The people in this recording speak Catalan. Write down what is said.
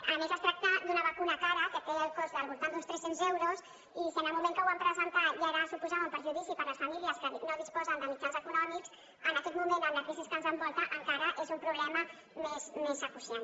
a més es tracta d’una vacuna cara que té el cost del voltant d’uns tres cents euros i si en el moment que ho vam presentar ja suposava un perjudici per a les famílies que no disposen de mitjans econòmics en aquest moment amb la crisi que ens envolta encara és un problema més urgent